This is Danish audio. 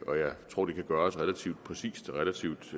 og jeg tror det kan gøres relativt præcist og relativt